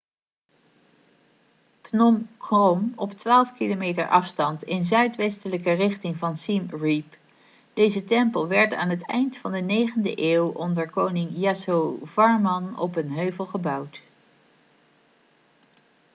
phnom krom op 12 km afstand in zuidwestelijke richting van siem reap deze tempel werd aan het eind van de 9e eeuw onder koning yasovarman op een heuvel gebouwd